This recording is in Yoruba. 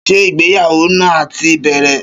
Ṣé ìgbéyàwó náà ti bẹ̀rẹ̀?